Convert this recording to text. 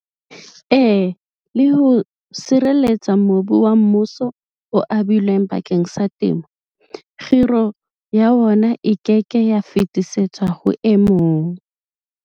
E le ho sireletsa mobu wa mmuso o abilweng bakeng sa temo, kgiro ya wona e ke ke ya fetisetswa ho e mong.